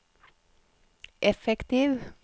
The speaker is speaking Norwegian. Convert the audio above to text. effektiv